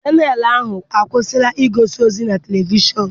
Chanelụ ahụ kwụsịrị igosi ozi na televishọn.